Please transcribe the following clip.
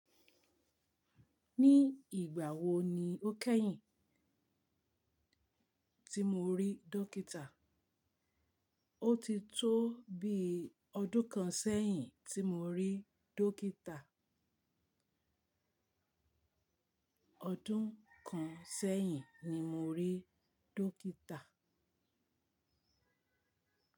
Ní ìgbà wo ni ó kẹ́yìn tí mo rí dókítà? Ó ti tó bíi ọdún kan sẹ́yìn tí mo rí dókítà. Ọdún kan sẹ́yìn ni mo rí dókítà.